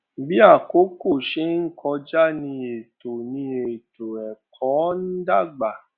bí àkókò ṣe ń kọjá ní ètò ní ètò ẹkọ ń dàgbà